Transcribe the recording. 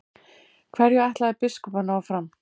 Hverju ætlaði biskup að ná fram?